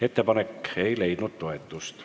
Ettepanek ei leidnud toetust.